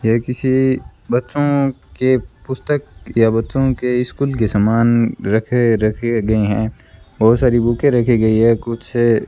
ये किसी बच्चों के पुस्तक या बच्चों के स्कूल के सामान रखे रखे गए हैं बहुत सारी बुकें रखे गई हैं कुछ --